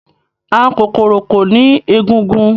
àwọn kokoro ko ni egungun